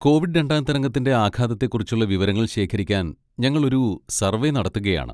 Covid രണ്ടാം തരംഗത്തിന്റെ ആഘാതത്തെക്കുറിച്ചുള്ള വിവരങ്ങൾ ശേഖരിക്കാൻ ഞങ്ങൾ ഒരു സർവ്വേ നടത്തുകയാണ്.